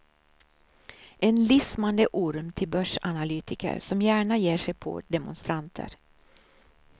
En lismande orm till börsanalytiker som gärna ger sig på demonstranter.